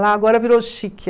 Lá agora virou chique.